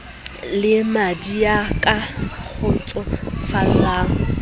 le madi ya ka kgotsofallang